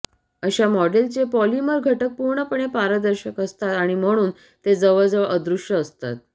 अशा मॉडेलचे पॉलिमर घटक पूर्णपणे पारदर्शक असतात आणि म्हणून ते जवळजवळ अदृश्य असतात